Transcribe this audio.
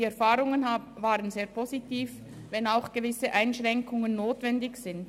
Die Erfahrungen waren sehr positiv, auch wenn gewisse Einschränkungen notwendig sind.